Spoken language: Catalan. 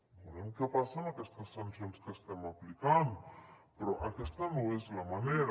veurem què passa amb aquestes sancions que estem aplicant però aquesta no és la manera